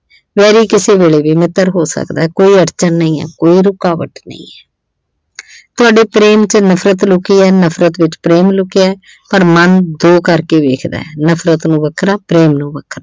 Very ਕਿਸੇ ਵੇਲੇ ਵੀ ਮਿੱਤਰ ਹੋ ਸਕਦੈ ਕੋਈ ਅੜਚਣ ਨਹੀਂ ਐ ਕੋਈ ਰੁਕਾਵਟ ਨਹੀਂ ਐ। ਤੁਹਾਡੇ ਪ੍ਰੇਮ ਚ ਨਫ਼ਰਤ ਲੁਕੀ ਐ ਨਫਰਤ ਵਿੱਚ ਪ੍ਰੇਮ ਲੁਕਿਐ ਔਰ ਮਨ ਦੋ ਕਰਕੇ ਵੇਖਦੈ ਨਫਰਤ ਨੂੰ ਵੱਖਰਾ ਪ੍ਰੇਮ ਨੂੰ ਵੱਖਰਾ।